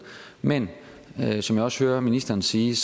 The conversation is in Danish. men som jeg også hører ministeren sige